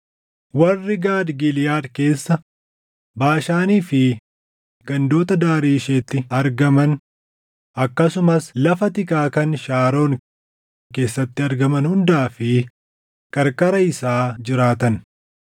Warri Gaad Giliʼaad keessa, Baashaanii fi gandoota daarii isheetti argaman, akkasumas lafa tikaa kan Shaaroon keessatti argaman hundaa fi qarqara isaa jiraatan.